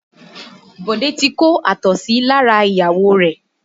Bode ti kó àtọ̀sí lára ìyàwó rẹ̀